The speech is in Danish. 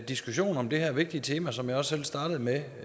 diskussion om det her vigtige tema som jeg også startede med